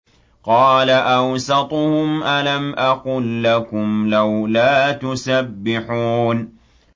قَالَ أَوْسَطُهُمْ أَلَمْ أَقُل لَّكُمْ لَوْلَا تُسَبِّحُونَ